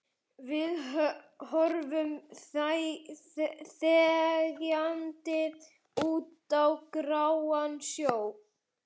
Við horfum þegjandi út á gráan sjó.